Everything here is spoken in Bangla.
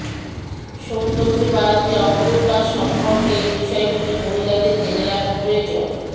সৌন্দর্য বাড়াতে অন্তর্বাস সম্পর্কে এই বিষয়গুলি মহিলাদের জেনে রাখা প্রয়োজন